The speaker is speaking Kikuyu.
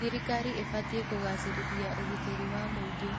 Thirikari ĩbatiĩ kũgacĩrithia ũgitĩri wa mũingĩ.